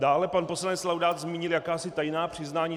Dále pan poslanec Laudát zmínil jakási tajná přiznání.